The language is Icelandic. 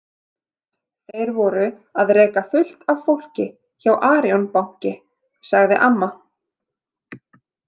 Þeir voru að reka fullt af fólki hjá Arion banki, sagði amma.